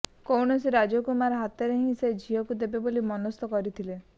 କୌଣସି ରାଜକୁମାର ହାତରେ ହିଁ ସେ ଝିଅକୁ ଦେବେ ବୋଲି ମନସ୍ଥ କରିଥିଲେ